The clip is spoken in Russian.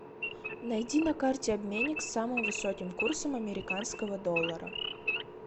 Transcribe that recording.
найди на карте обменник с самым высоким курсом американского доллара